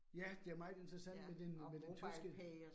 Ja, det er meget interessant med den med den tyske